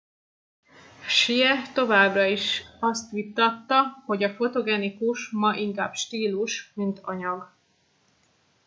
hsieh továbbá azt is vitatta hogy a fotogenikus ma inkább stílus mint anyag